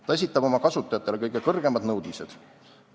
Ta esitab oma kasutajatele kõige kõrgemad nõudmised.